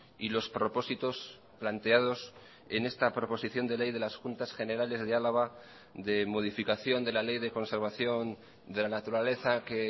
y los propósitos planteados en esta proposición de ley de las juntas generales de álava de modificación de la ley de conservación de la naturaleza que